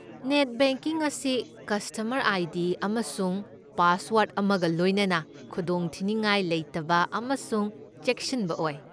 Net banking ꯑꯁꯤ customer I. D. ꯑꯃꯁꯨꯡ password ꯑꯃꯒ ꯂꯣꯏꯅꯅ ꯈꯨꯗꯣꯡꯊꯤꯅꯤꯡꯉꯥꯏ ꯂꯩꯇꯕ ꯑꯃꯁꯨꯡ ꯆꯦꯛꯁꯤꯟꯕ ꯑꯣꯏ꯫